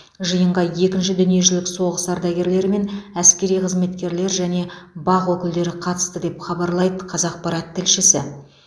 жиынға екінші дүниежүзілік соғыс ардагерлері мен әскери қызметкерлер және бақ өкілдері қатысты деп хабарлайды қазақпарат тілшісі